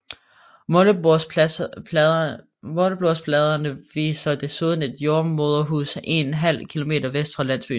Målebordsbladene viser desuden et jordemoderhus ½ km vest for landsbyen